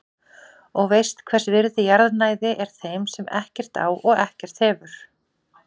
Og veist hvers virði jarðnæði er þeim sem ekkert á og ekkert hefur.